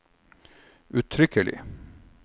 uttrykkelig